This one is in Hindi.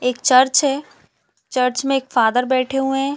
एक चर्च है चर्च में एक फादर बैठे हुए है।